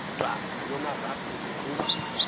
dwa ngulomarabu uqhuba